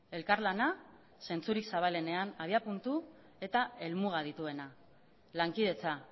elkarlana zentzurik zabalenean abiapuntu eta helmuga dituena lankidetza